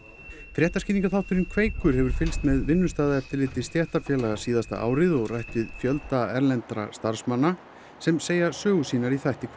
fréttaskýringaþátturinn Kveikur hefur fylgst með vinnustaðaeftirliti stéttarfélaga síðasta árið og rætt við fjölda erlendra starfsmanna sem segja sögur sínar í þættinum